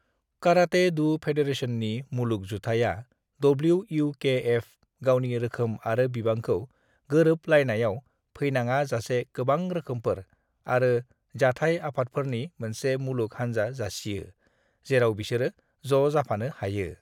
Karate-do फेडरेशननि मुलुग जुथायया (डब्लिउ.इउ.के.एफ) गावनि रोखोम आरो बिबांखौ गोरोब लायनायाव फैनाङा जासे गोबां रोखोमफोर आरो जाथाइ आफादफोरनि मोनसे मुलुग हानजा जासियो जेराब बिसोरो ज' जाफानो हायो।